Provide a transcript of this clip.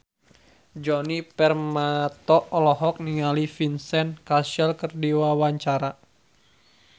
Djoni Permato olohok ningali Vincent Cassel keur diwawancara